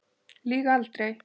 Lýg aldrei.